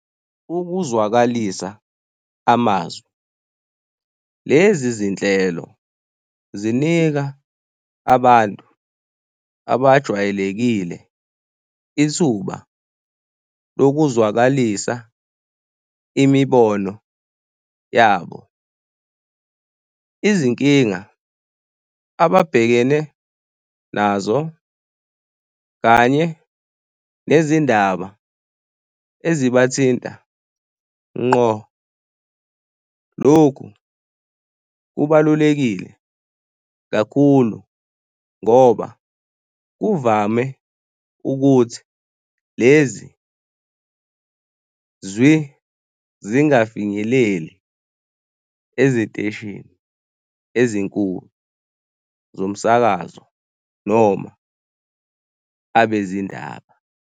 Ukuzwakalisa amazwi. Lezi zinhlelo zinika abantu abajwayelekile ithuba lokuzwakalisa imibono yabo, izinkinga ababhekene nazo, kanye nezindaba eziba thinta ngqo. Lokhu kubalulekile kakhulu ngoba kuvame ukuthi lezi zingafinyeleli eziteshini ezinkulu zomsakazo noma abezindaba.